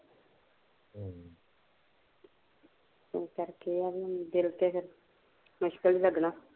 ਏਸ ਕਰਕੇ ਆ ਵੀ ਹੁਣ ਦਿਲ ਤੇ ਫਿਰ ਮੁਸ਼ਕਿਲ ਈ ਲੱਗਣਾ